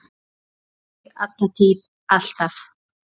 Elska þig, alla tíð, alltaf.